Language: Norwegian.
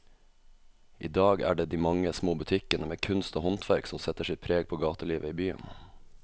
I dag er det de mange små butikkene med kunst og håndverk som setter sitt preg på gatelivet i byen.